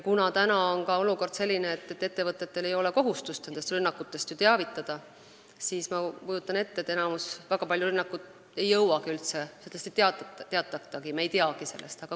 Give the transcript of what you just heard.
Kuna praegune olukord on selline, et ettevõtetel ei ole kohustust rünnakutest teavitada, siis ma kujutan ette, et väga paljude rünnakute info ei jõuagi üldse meieni, st paljudest rünnakutest ei teatata ja me ei teagi nendest.